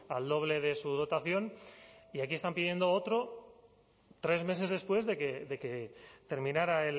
al doble de su dotación y aquí están pidiendo otro tres meses después de que terminara